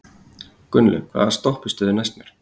Gunnlaug, hvaða stoppistöð er næst mér?